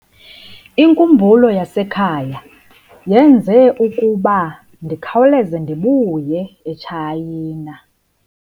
Inkumbulo yasekhaya yenze ukuba ndikhawuleze ndibuye eTshayina.